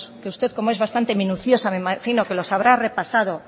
que usted como es bastante minuciosa me imagino que los habrá repasado